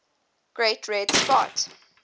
great red spot